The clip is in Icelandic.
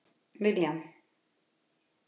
William